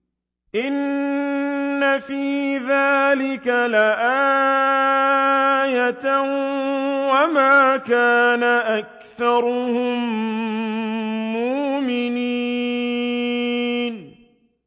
إِنَّ فِي ذَٰلِكَ لَآيَةً ۖ وَمَا كَانَ أَكْثَرُهُم مُّؤْمِنِينَ